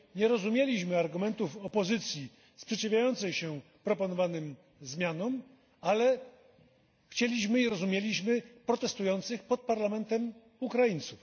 Nie rozumieliśmy argumentów opozycji sprzeciwiającej się proponowanym zmianom, ale widzieliśmy i rozumieliśmy protestujących pod parlamentem Ukraińców.